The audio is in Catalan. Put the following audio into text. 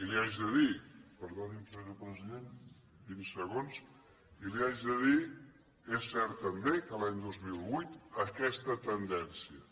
i li haig de dir perdoni’m senyor president vint segons és cert també que l’any dos mil vuit aquesta tendència